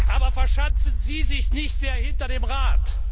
Aber verschanzen Sie sich nicht mehr hinter dem Rat!